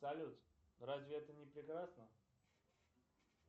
салют разве это не прекрасно